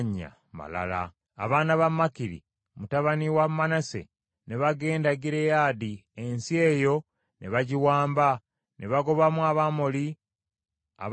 Abaana ba Makiri, mutabani wa Manase, ne bagenda e Gireyaadi, ensi eyo ne bagiwamba, ne bagobamu Abamoli abaagibeerangamu.